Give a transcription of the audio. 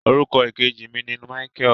Orúkọ ìkejì mi ni Michael.